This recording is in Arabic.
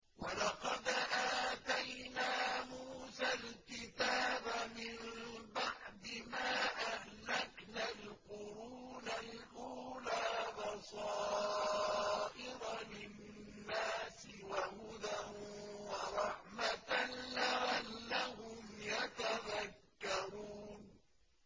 وَلَقَدْ آتَيْنَا مُوسَى الْكِتَابَ مِن بَعْدِ مَا أَهْلَكْنَا الْقُرُونَ الْأُولَىٰ بَصَائِرَ لِلنَّاسِ وَهُدًى وَرَحْمَةً لَّعَلَّهُمْ يَتَذَكَّرُونَ